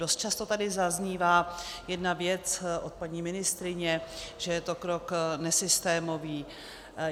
Dost často tady zaznívá jedna věc od paní ministryně, že je to krok nesystémový.